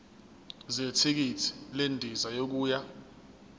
zethikithi lendiza yokuya